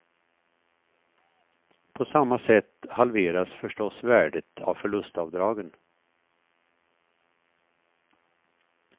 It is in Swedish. På samma sätt halveras förstås värdet av förlustavdragen.